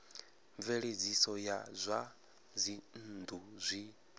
mveledziso ya zwa dzinnu zwi